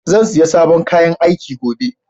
Zan siya sabon kayan aiki gobe.